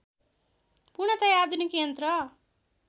पूर्णतया आधुनिक यन्त्र